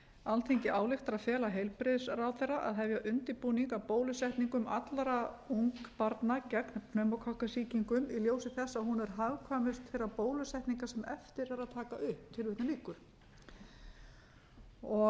alþingi ályktar að fela heilbrigðisráðherra að hefja undirbúning að bólusetningu allra ungbarna gegn pneumókokkasýkingum í ljósi þess að hún er hagkvæmust þeirra bólusetninga sem eftir er að taka upp